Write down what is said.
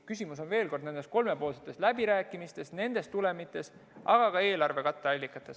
Küsimus on nendes kolmepoolsetes läbirääkimistes, nendes tulemites, aga ka eelarve katteallikates.